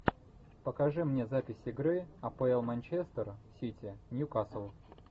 покажи мне запись игры апл манчестер сити ньюкасл